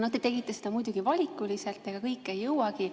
Te tegite seda muidugi valikuliselt ja ega kõike jõuagi.